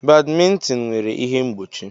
Badmintin nwere ihe mgbochi.